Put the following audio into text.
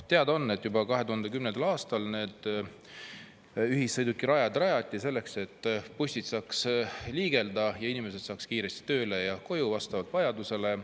Teada on, et juba 2010. aastal need ühissõidukirajad rajati selleks, et bussid saaks liigelda ja inimesed saaks kiiresti tööle ja koju vastavalt vajadusele.